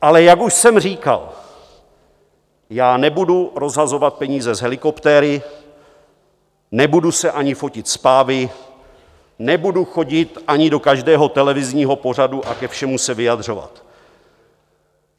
Ale jak už jsem říkal, já nebudu rozhazovat peníze z helikoptéry, nebudu se ani fotit s pávy, nebudu chodit ani do každého televizního pořadu a ke všemu se vyjadřovat.